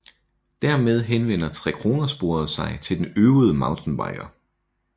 Dermed henvender Trekronersporet sig til den øvede mountainbiker